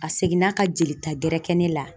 A seginna ka jelita gɛrɛ kɛ ne la